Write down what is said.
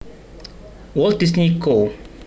Walt Disney Co